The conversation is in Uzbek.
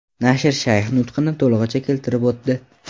Nashr shayx nutqini to‘lig‘icha keltirib o‘tdi.